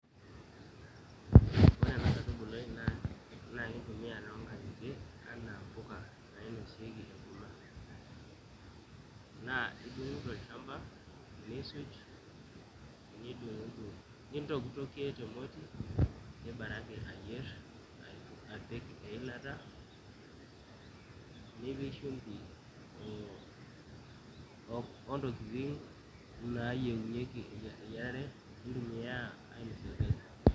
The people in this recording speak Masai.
ore ena kaitubului naa ekintumia toonkang'itie anaa mpuka nainosieki enkurma naa idung'u tolchamba niisuj nidung'udung nintokitokie te moti nibaraki ayierr apik eilata nipik shumbi oo ontokitin naayienyieki eyiarare nintumiaya ainosie orgali.